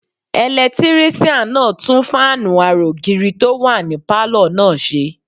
Ẹlẹtírísíàn náà tún fáànù ara ògiri tó wà ní pálọ̀ náà ṣe